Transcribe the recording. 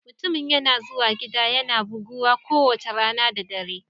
Mutumin yana zuwa gida yana buguwa kowace rana da dare